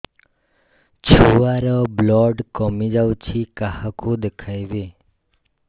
ଛୁଆ ର ବ୍ଲଡ଼ କମି ଯାଉଛି କାହାକୁ ଦେଖେଇବି